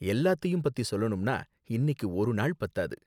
எல்லாத்தயும் பத்தி சொல்லணும்னா இன்னிக்கு ஒரு நாள் பத்தாது